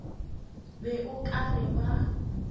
be o ka re ba